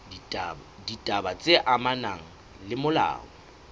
ditaba tse amanang le molao